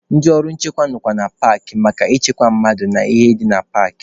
Ndị ọrụ nchekwa nọkwa na paakị maka ịchekwa mmadụ na ihe ndị dị na paakị.